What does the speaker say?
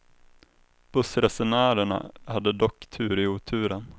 Bussresenärerna hade dock tur i oturen.